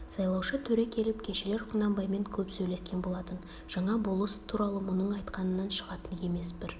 сайлаушы төре келіп кешелер құнанбаймен көп сөйлескен болатын жаңа болыс туралы мұның айтқанынан шығатын емес бір